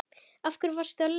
Af hverju varstu leiður?